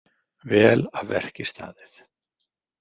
Vel af verki staðið.